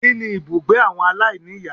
Kíni ibùgbé àwọn aláìníìyá